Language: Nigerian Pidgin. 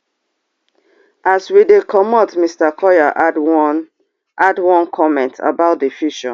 as we dey comot mr collyer add one add one comment about di future